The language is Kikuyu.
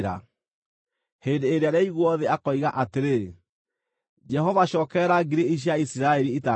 Hĩndĩ ĩrĩa rĩaigwo thĩ, akoiga atĩrĩ, “Jehova cookerera ngiri ici cia Isiraeli itangĩtarĩka.”